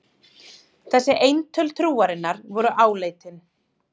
Þessi eintöl trúarinnar voru áleitin.